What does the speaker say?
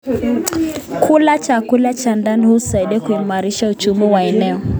Kula chakula cha ndani husaidia kuimarisha uchumi wa eneo.